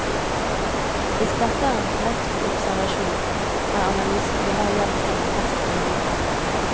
Hvis dette er en korrekt observasjon, er analysen vi her gjengir den mest relevante.